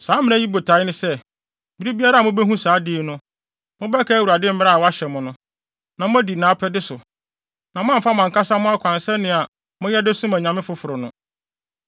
Saa mmara yi botae ne sɛ, bere biara a mubehu saa ade yi no, mobɛkae Awurade mmara a wɔahyɛ mo no, na moadi nʼapɛde so, na moamfa mo ankasa mo akwan sɛnea na moyɛ de som anyame afoforo no.